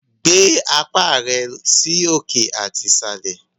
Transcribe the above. Gbé apá rẹ sí òkè àti ìsàlẹ̀!